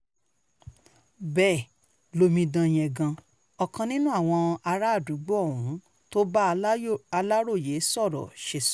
bẹ́ẹ̀ lomidan yengun ọkàn nínú àwọn àràádúgbò ohun tó bá aláròye sọ̀rọ̀ ṣe sọ